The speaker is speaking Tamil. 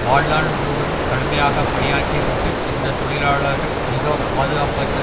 வாழ்நாள் முழுவதும் கடுமையாக பணியாற்றிவிட்டு இந்த தொழிலாளர்கள் மிகப்பாதுகாப்பற்ற